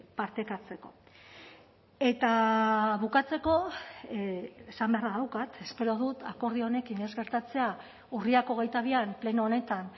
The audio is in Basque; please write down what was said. partekatzeko eta bukatzeko esan beharra daukat espero dut akordio honekin ez gertatzea urriak hogeita bian pleno honetan